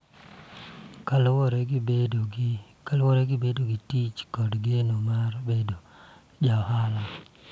Kaluwore gi bedo gi tich kod geno mar bedo ja ohala.